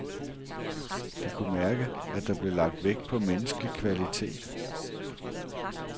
De kunne mærke, at der blev lagt vægt på menneskelig kvalitet.